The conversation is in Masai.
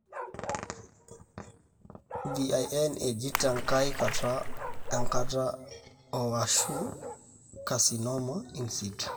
VIN eji tenkae kata enkata 0 ashu carcinoma insitu.